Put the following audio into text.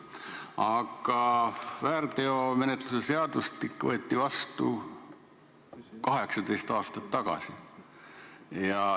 Aga väärteomenetluse seadustik võeti vastu 18 aastat tagasi.